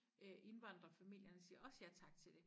Øh indvandrefamilierne siger også ja tak til det